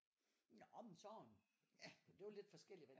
Nå men sådan det var lidt forskelligt hvad de